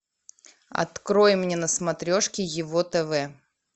открой мне на смотрешке его тв